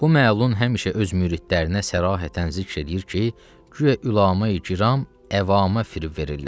Bu məlun həmişə öz müridlərinə sərahətən zikr eləyir ki, güya ülama-i kiram əvamə fırıf verirlər.